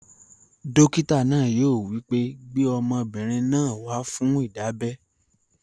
Dókítà náà yóò wí pé, "gbé ọmọbìnrin náà wá fún ìdábẹ́!"